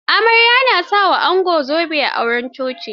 Amarya na sa wa ango zobe a auren coci.